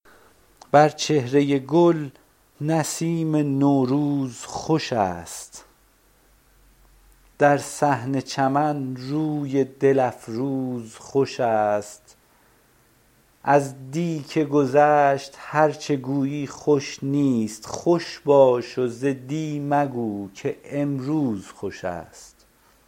بر چهره گل نسیم نوروز خوش است در صحن چمن روی دل افروز خوش است از دی که گذشت هرچه گویی خوش نیست خوش باش و ز دی مگو که امروز خوش است